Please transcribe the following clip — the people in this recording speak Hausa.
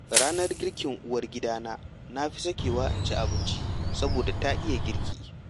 Ranar girkin uwar gidana na fi sakewa in ci abinci, saboda ta iya girki.